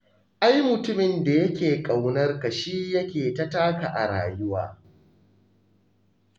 Ai mutumin da yake ƙaunar ka shi yake ta taka a rayuwa.